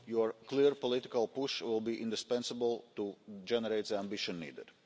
Your clear political push will be indispensable to generate the ambition needed.